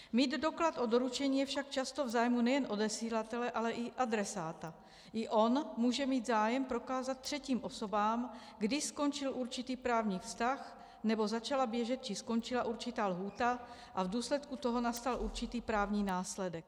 Mít doklad o doručení je však často v zájmu nejen odesilatele, ale i adresáta, i on může mít zájem prokázat třetím osobám, kdy skončil určitý právní vztah nebo začala běžet či skončila určitá lhůta a v důsledku toho nastal určitý právní následek.